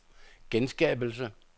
genskabelse